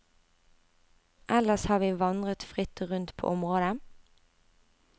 Ellers har vi vandret fritt rundt på området.